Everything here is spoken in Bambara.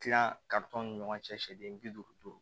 Tila ka tɔn ni ɲɔgɔn cɛ sɛden bi duuru duuru